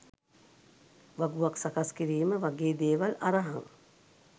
වගුවක් සකස් කිරීම වගේ දේවල් අරහං